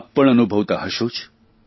આપ પણ અનુભવતા હશો જ